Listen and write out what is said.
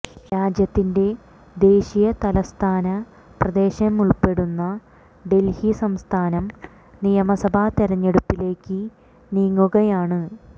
രാജ്യത്തിന്റെ ദേശീയ തലസ്ഥാന പ്രദേശമുള്പ്പെടുന്ന ഡല്ഹി സംസ്ഥാനം നിയമസഭാ തെരഞ്ഞെടുപ്പിലേക്ക് നീങ്ങുകയാണ്